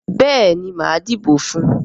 Béèni máa dìbò fún ùn.